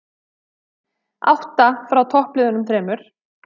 Átta frá toppliðunum þremur